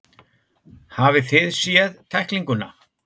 Hafið þið séð tæklinguna?